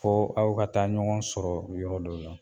Fo aw ka taa ɲɔgɔn sɔrɔ yɔrɔ dɔw la